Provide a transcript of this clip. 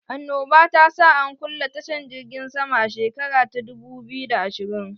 Annoba ta sa an kulle tashan jirgin sama a shekara ta dubu biyu da ashirin